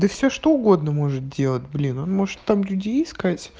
да все что угодно может делать блин он может там людей искать